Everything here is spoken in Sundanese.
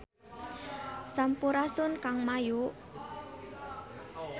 Sampurasun Kang Mayu